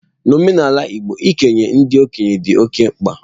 N'omenala igbo, ikele ndị okenye dị oke mkpa.